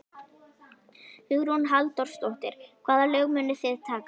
Hugrún Halldórsdóttir: Hvaða lög munuð þið taka?